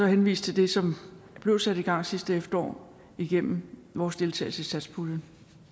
henvise til det som der blev sat i gang sidste efterår igennem vores deltagelse i satspuljen